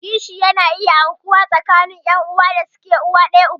Kishi yana iya aukuwa tsakanin ƴan'uwan da suke uwan ɗaya uba ɗaya.